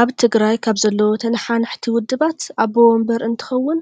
ኣብ ትግራይ ካብ ዘለው ተነሓናሕቲ ውዸባት ኣቦ ወንበር እንትኸውን